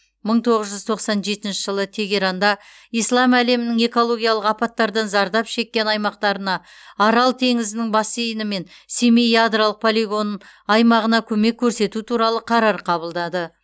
мың тоғыз жүз тоқсан жетінші жылы тегеранда ислам әлемінің экологиялық апаттардан зардап шеккен аймақтарына арал теңізінің бассейні мен семей ядролық полигон аймағына көмек көрсету туралы қарар қабылдады